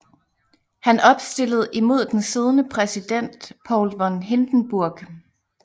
Han opstillede imod den siddende præsident Paul von Hindenburg